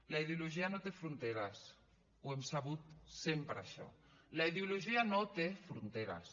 la ideologia no té fronteres ho hem sabut sempre això la ideologia no té fronteres